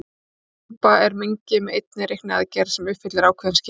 Grúpa er mengi með einni reikniaðgerð sem uppfyllir ákveðin skilyrði.